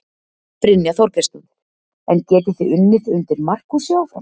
Brynja Þorgeirsdóttir: En getið þið unnið undir Markúsi áfram?